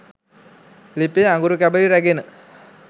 ලිපේ අඟුරු කැබලි රැගෙන